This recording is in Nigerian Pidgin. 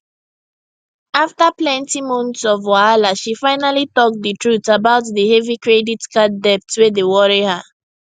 after plenty months of wahala she finally talk the truth about the heavy credit card debt wey dey worry her